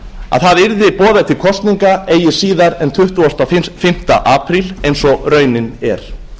að það yrði boðað til kosninga eigi síðar en tuttugasta og fimmta apríl eins og raunin er